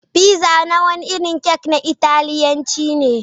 Fiza wani irin kek na Italiyanci ne.